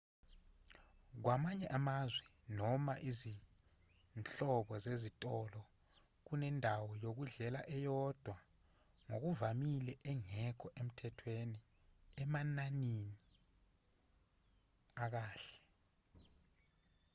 kwamanye amazwe noma izinhlobo zezitolo kunendawo yokudlela eyodwa ngokuvamile engekho emthethweni enamanani akahle